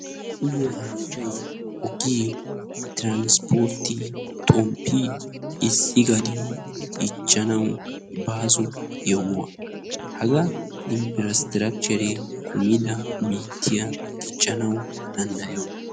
Uyiyyo haattay ogee transpportte xomppi issi gadiyo dichchanaw baaso yohuwa haga inprastrakichchere diccanaw issi biittiyaa danddayaaw.